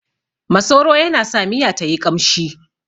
Masoro yana sa miya tayi ƙamshi